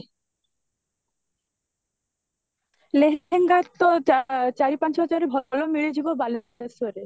ଲେହେଙ୍ଗା ତ ଆଁ ଚାରି ପାଞ୍ଚ ହଜାର ରେ ଭଲ ମିଳିଯିବ ବାଲେଶ୍ବରରେ